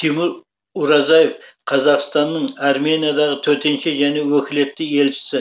тимур уразаев қазақстанның армениядағы төтенше және өкілетті елшісі